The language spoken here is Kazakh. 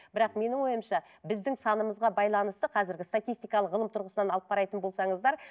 бірақ менің ойымша біздің санымызға байланысты қазіргі статистикалық ғылым тұрғысынан алып қарайтын болсаңыздар